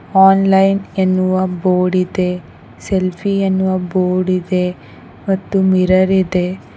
Online ಎನ್ನುವ board ಇದೆ selfie ಎನ್ನುವ ಬೋರ್ಡ್ ಇದೆ ಮತ್ತು ಮಿರರ್ ಇದೆ.